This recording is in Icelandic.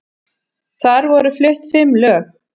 Þar voru flutt fimm lög